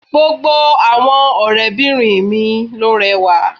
Gbogbo àwọn ọ̀rẹ́ bìnrin mi ló rẹwà